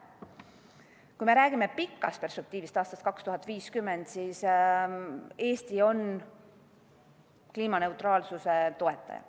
Kui me räägime pikast perspektiivist, aastast 2050, siis Eesti on kliimaneutraalsuse toetaja.